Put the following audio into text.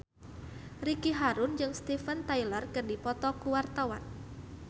Ricky Harun jeung Steven Tyler keur dipoto ku wartawan